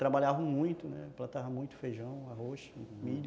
Trabalhavam muito, né, plantavam muito feijão, arroz, milho.